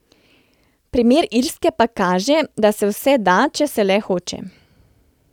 Primer Irske pa kaže, da se vse da, če se le hoče.